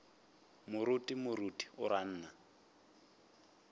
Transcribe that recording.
moruti moruti o ra nna